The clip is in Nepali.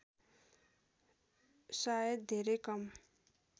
सायद धेरै कम